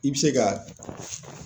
I bɛ se ka.